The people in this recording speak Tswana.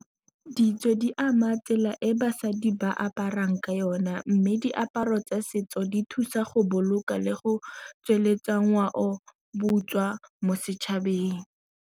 Ditso di ama tsela e basadi ba aparang ka yone, mme diaparo tsa setso di thusa go boloka le go tsweletsa ngwao boswa mo setšhabeng.